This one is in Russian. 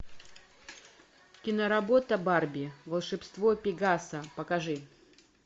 киноработа барби волшебство пегаса покажи